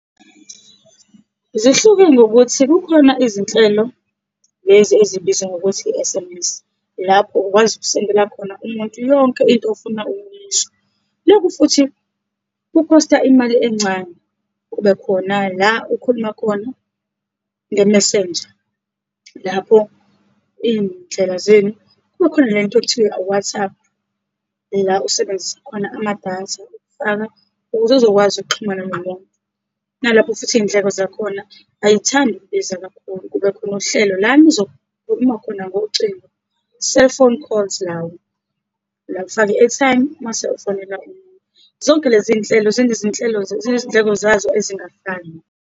Zihluke ngokuthi, kukhona izinhlelo lezi ezibizwa ngokuthi i-S_M_S, lapho ukwazi ukusendela khona umuntu yonke into ofuna ukuyisho. Lokhu futhi kukhosta imali encane. Kube khona la ukhuluma khona nge-Messenger lapho iy'ndlela zenu. Kukhona nento okuthiwa WhatsApp, la usebenzisa khona amadatha ukufaka, ukuze uzokwazi ukuxhuma nomuntu. Nalapho futhi iy'ndleko zakhona ayithandi ukubiza kakhulu. Kube khona uhlelo la nizokhuluma khona ngocingo, cellphone calls lawo, la ufaka i-airtime mase ufonela . Zonke lezinhlelo zinezinhlelo, zenezindleko zazo ezingafani.